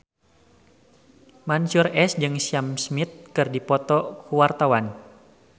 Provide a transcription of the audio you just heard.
Mansyur S jeung Sam Smith keur dipoto ku wartawan